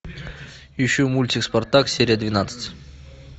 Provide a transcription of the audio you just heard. ищу мультик спартак серия двенадцать